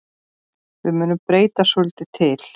Við munum breyta svolítið til.